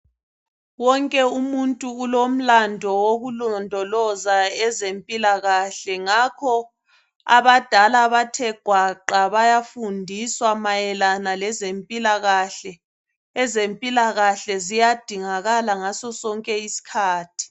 Wonke umuntu ulomlando wokulondoloza ezempilakahle ngakho abadala bathe gwaqa befundiswa mayelana ngezempilakahle. Ezempilakahle ziyadingakala ngaso sonke iskhathi